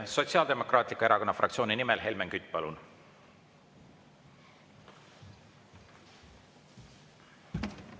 Sotsiaaldemokraatliku Erakonna fraktsiooni nimel Helmen Kütt, palun!